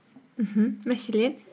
мхм мәселен